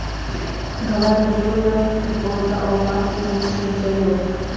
Gvardiola: "Futbolda omad degan tushuncha yo‘q!";.